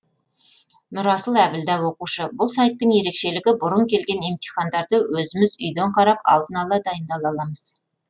нұрасыл әбілда оқушы бұл сайттың ерекшелігі бұрын келген емтихандарды өзіміз үйден қарап алдын ала дайындала аламыз